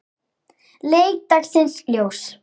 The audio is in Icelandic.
leit dagsins ljós.